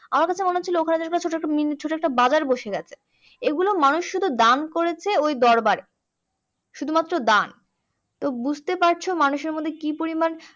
আমার কাছে মনে হচ্ছিলো ওখানে যেন ছোটো একটা ছোটো একটা বাজার বসে গিয়েছে এইগুলো মানুষ শুধু দান করেছে ওই দরবারে শুধুমাত্র দান তো বুঝতেই পারছো মানুষের মধ্যে কি পরিমাণ